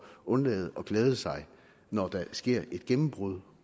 undlade at glæde sig når der sker et gennembrud